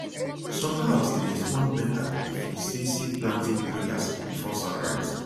some herbs dey respond better if you say say planting prayers before sunrise